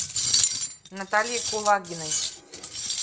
наталье кулагиной